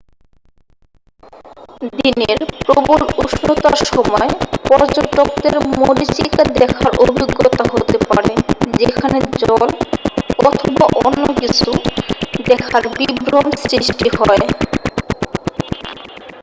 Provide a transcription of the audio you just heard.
দিনের প্রবল উষ্ণতার সময় পর্যটকদের মরীচিকা দেখার অভিজ্ঞতা হতে পারে যেখানে জল অথবা অন্য কিছু দেখার বিভ্রম সৃষ্টি হয়।